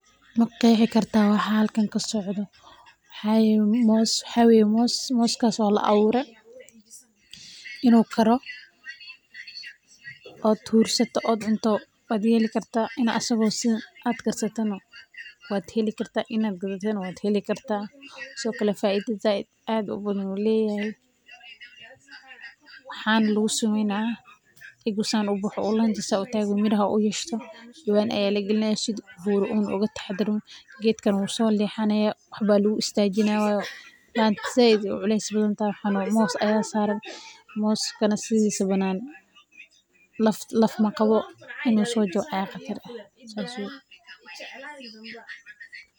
Ma qeexi kartaa waxa halkan kasocdo waxa waye moos oo la abuure inuu karo oo huursato aad cunto inaad karsato waad yeeli kartaa waxa lagu sameyna jawaan ayaa lagalinayaa laanta aad ayeey uculus tahay.